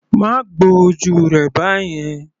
Má gbo ojú rẹ báyẹn.